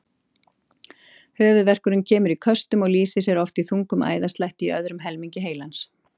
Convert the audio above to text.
Höfuðverkurinn kemur í köstum og lýsir sér oft í þungum æðaslætti í öðrum helmingi heilans.